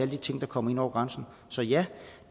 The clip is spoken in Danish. de ting der kommer ind over grænsen så ja